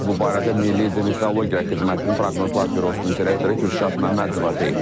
Bu barədə Milli Hidrometeorologiya Xidmətinin Proqnozlar Bürosunun direktoru Kürşad Məmmədov deyib.